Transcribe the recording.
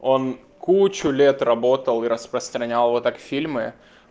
он кучу лет работал распространял вот так фильмы